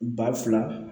Ba fila